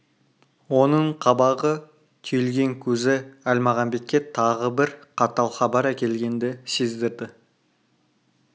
оның қабағы түйілген көзі әлмағамбетке тағы бір қатал хабар әкелгенді сездірді